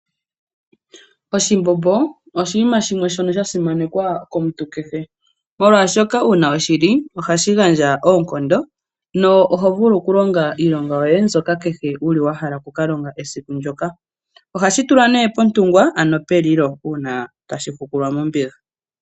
Oshimbombo oshinima shimwe shoka sha simanekwa komuntu kehe, molwashoka uuna weshi li ohashi gandja oonkondo, na oho kulonga iilonga yoye kehe wuli wa hala oku ka longa esiku ndoka. Ohashi tulwa nee pontungwa, ano pelilo uuna tashi hukulwa mombiga.